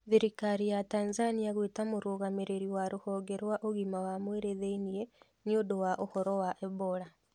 Thirikari ya Tanzania gwĩta mũrũgamĩrĩri wa rũhonge rwa ũgima wa mwĩrĩ thĩ-inĩ nĩũndũ wa ũhoro wa Ebola.